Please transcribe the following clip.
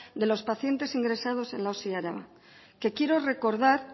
de los pacientes ingresados en la osi araba que quiero recordar